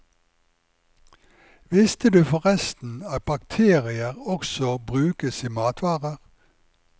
Visste du forresten at bakterier også brukes i matvarer.